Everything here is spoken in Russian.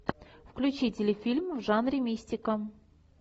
включи телефильм в жанре мистика